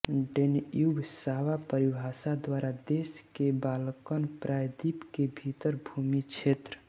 डेन्यूबसावा परिभाषा द्वारा देश के बाल्कन प्रायद्वीप के भीतर भूमि क्षेत्र